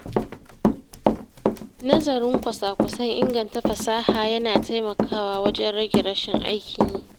Nazarin kwasa-kwasan inganta fasaha ya na taimakawa wajen rage rashin aikin yi.